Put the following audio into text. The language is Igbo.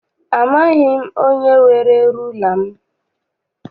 Amaghị m onye were rula m.